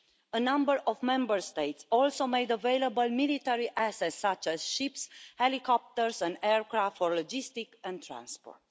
A number of Member States also made available military assets, such as ships, helicopters and aircraft for logistics and transport.